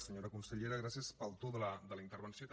senyora consellera gràcies pel to de la intervenció també